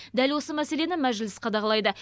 дәл осы мәселені мәжіліс қадағалайды